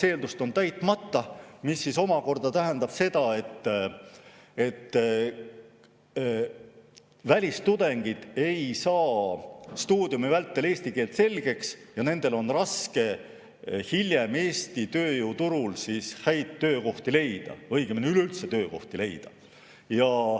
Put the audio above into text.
See omakorda tähendab, et välistudengid ei saa stuudiumi vältel eesti keelt selgeks ja neil on raske hiljem Eesti tööturul head töökohta leida, õigemini üleüldse töökohta leida.